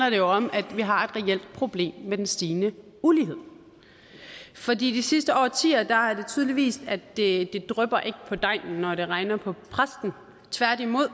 jo om at vi har et reelt problem med den stigende ulighed for de sidste årtier har tydeligt vist at det ikke drypper på degnen når det regner på præsten tværtimod